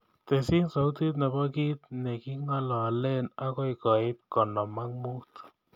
Tesyi sautit nebo kiit negingololen agoi koit konom ak muut